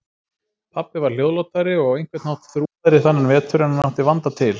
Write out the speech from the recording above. Pabbi var hljóðlátari og á einhvern hátt þrúgaðri þennan vetur en hann átti vanda til.